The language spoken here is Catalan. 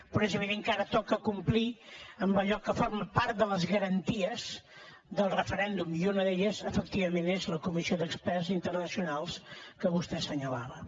però és evident que ara toca complir amb allò que forma part de les garanties del referèndum i una d’elles efectivament és la comissió d’experts internacionals que vostè assenyalava